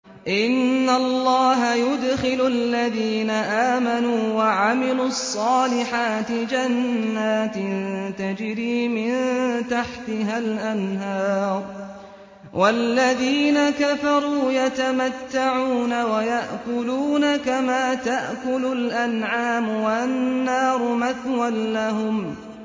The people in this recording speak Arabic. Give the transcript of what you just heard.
إِنَّ اللَّهَ يُدْخِلُ الَّذِينَ آمَنُوا وَعَمِلُوا الصَّالِحَاتِ جَنَّاتٍ تَجْرِي مِن تَحْتِهَا الْأَنْهَارُ ۖ وَالَّذِينَ كَفَرُوا يَتَمَتَّعُونَ وَيَأْكُلُونَ كَمَا تَأْكُلُ الْأَنْعَامُ وَالنَّارُ مَثْوًى لَّهُمْ